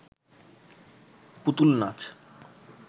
পুতুল নাচ